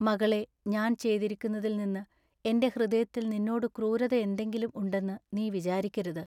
മകളെ ഞാൻ ചെയ്തിരിക്കുന്നതിൽനിന്നു എന്റെ ഹൃദയത്തിൽ നിന്നോടു ക്രൂരത എന്തെങ്കിലും ഉണ്ടെന്നു നീ വിചാരിക്കരുത്.